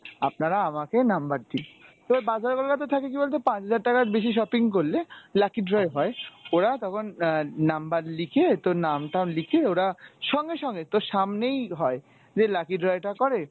আপনারা আমাকে number দিন। তো বাজার কলকাতায় থাকে কী বলতে পাঁচ হাজার টাকার বেশি shopping করলে lucky draw হয় ওরা তখন এর number লিখে তো নাম টাম লিখে ওরা সঙ্গে সঙ্গে তোর সামনেই হয় যে lucky draw টা করে